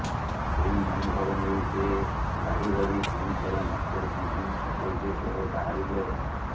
ସେଇ ମନୋଭାବ ନେଇ ସେ ଗାଡିଧରି ପୁଣିଥରେ ମାଷ୍ଟରକ୍ୟାଣ୍ଚିନ ଛକ ଉଦ୍ଦେଶ୍ୟରେ ବାହାରିଲେ